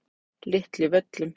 Litlu Völlum